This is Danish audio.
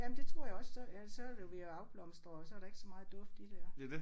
Ja men det tror jeg også så ellers så er det jo ved at afblomstre og så er der ikke så meget duft i det